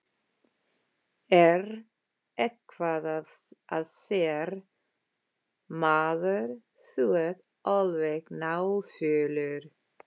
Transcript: Er eitthvað að þér, maður, þú ert alveg náfölur.